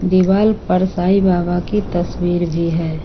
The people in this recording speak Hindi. दिवाल पर साईं बाबा की तस्वीर भी है।